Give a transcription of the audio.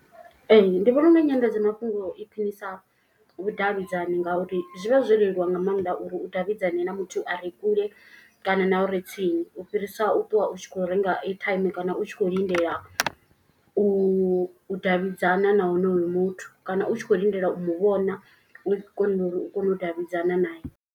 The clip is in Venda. Ee ndi vhona unga nyanḓadzamafhungo i khwinisa vhudavhidzani ngauri zwi vha zwo leluwa nga maanḓa. Uri u davhidzane na muthu a re kule kana na uri tsini u fhirisa u ṱwa u tshi kho renga airtime. Kana u tshi khou lindela u davhidzana na honoyo muthu. Kana u tshi kho lindela u mu vhona u kona uri u kone u davhidzana nae.